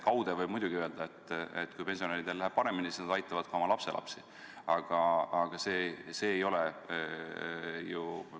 Kaude võib muidugi öelda, et kui pensionäridel läheb paremini, siis nad aitavad ka oma lapselapsi, aga see ei ole ju ...